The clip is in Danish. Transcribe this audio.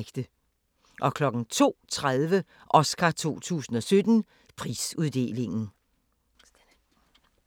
02:30: Oscar 2017: Prisuddeling